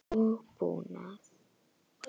og búnað.